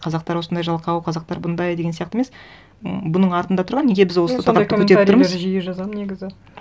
қазақтар осындай жалқау қазақтар бұндай деген сияқты емес м бұның артында тұрған неге біз осы тақырыпты көтеріп тұрмыз жиі жазамды негізі